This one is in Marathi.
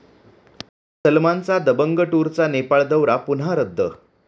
सलमानच्या 'दबंग टूर'चा नेपाळ दौरा पुन्हा रद्द